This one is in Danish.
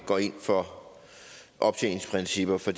går ind for optjeningsprincipper for